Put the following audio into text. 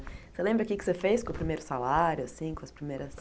Você lembra o que é que você fez com o primeiro salário, assim, com as primeiras...